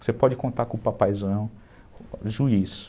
Você pode contar com o papaizão, juiz.